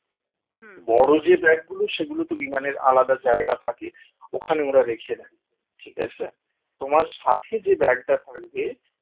বড় যে bag গুলো সেগুলো তো বিমানের আলাদা জায়গা থাকে ওখানে ওরা রেখে দেয় ঠিক আছে? তোমার সাথে যে bag টা থাকবে